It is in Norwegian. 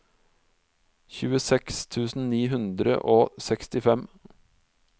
tjueseks tusen ni hundre og sekstifem